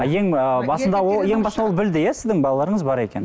а ең ыыы басында ол ең басында ол білді иә сіздің балаларыңыз бар екенін